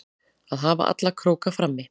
Að hafa alla króka frammi